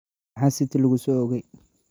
Maxaa city lagu soo oogay?